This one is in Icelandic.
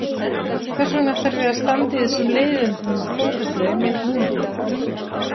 Hvers vegna þarf ég að standa í þessum leiðindum við Þórhöllu einmitt núna?